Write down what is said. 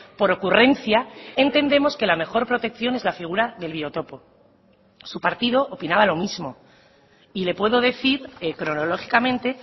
por ocurrencia entendemos que la mejor protección es la figura del biotopo su partido opinaba lo mismo y le puedo decir cronológicamente